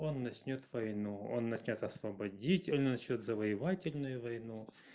он начнёт войну он начнёт освободитель начнёт завоевательную войну